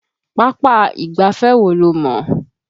Pápá ìgbáfẹ́ wo lo mọ̀?